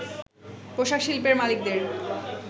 “পোশাক শিল্পের মালিকদের